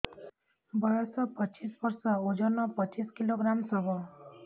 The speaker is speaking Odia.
ବୟସ ପଚିଶ ବର୍ଷ ଓଜନ ପଚିଶ କିଲୋଗ୍ରାମସ ହବ